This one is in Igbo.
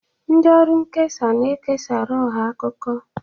Ndị ọrụ nkesa na-ekesara ọha akụkọ.